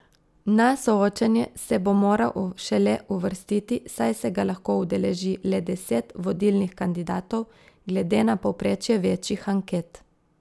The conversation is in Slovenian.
Na soočenje se bo moral šele uvrstiti, saj se ga lahko udeleži le deset vodilnih kandidatov glede na povprečje večjih anket.